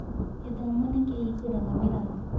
Gĩthomo nĩ kĩhingũraga mĩrango.